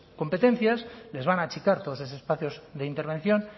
competencias les van a achicar todos esos espacios de intervención